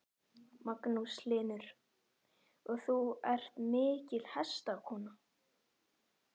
Magnús Hlynur: Og þú ert mikil hestakona?